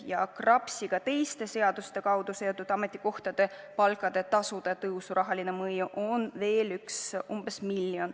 Ja KRAPS-iga teiste seaduste kaudu seotud ametikohtade palkade tõusu rahaline mõju on veel umbes 1 miljon.